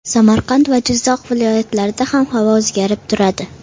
Samarqand va Jizzax viloyatlarida ham havo o‘zgarib turadi.